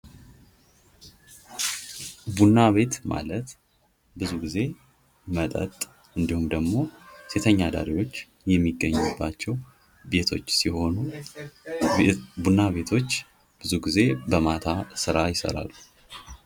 ቡና ቤት ማለት ብዙው ጊዜ መጠጥ ወይም ደግሞ ሴተኛ አዳሪዎች የሚገኙባቸዉ ቤቶች ሲሆኑ ቡና ቤቶች ብዙውን ጊዜ በማታ ስራ ይሰራሉ።